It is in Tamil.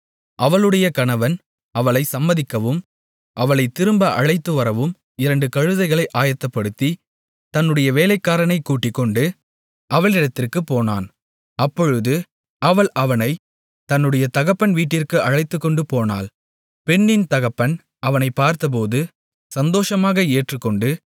அவளுடைய கணவன் அவளை சம்மதிக்கவும் அவளைத் திரும்ப அழைத்துவரவும் இரண்டு கழுதைகளை ஆயத்தப்படுத்தி தன்னுடைய வேலைக்காரனைக் கூட்டிக்கொண்டு அவளிடத்திற்குப் போனான் அப்பொழுது அவள் அவனைத் தன்னுடைய தகப்பன் வீட்டிற்கு அழைத்துக்கொண்டு போனாள் பெண்ணின் தகப்பன் அவனைப் பார்த்தபோது சந்தோஷமாக ஏற்றுக்கொண்டு